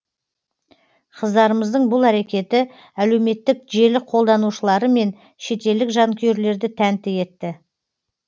қыздарымыздың бұл әрекеті әлеуметтік желі қолданушылары мен шетелдік жанкүйерлерді тәнті етті